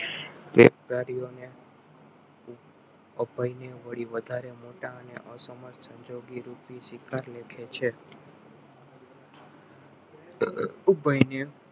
અને અભયને વધારે મોટા અને અસમર્થ છે અર ઉભય ને